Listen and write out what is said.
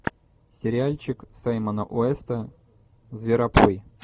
сериальчик саймона уэста зверопой